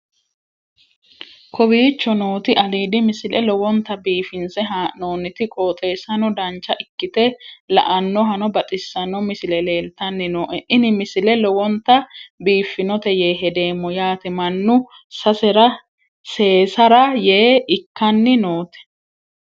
kowicho nooti aliidi misile lowonta biifinse haa'noonniti qooxeessano dancha ikkite la'annohano baxissanno misile leeltanni nooe ini misile lowonta biifffinnote yee hedeemmo yaate mannu seesara yee ikkanni noote